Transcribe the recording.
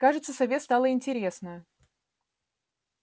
кажется сове стало интересно